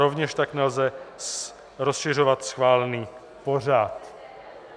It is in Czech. Rovněž tak nelze rozšiřovat schválený pořad.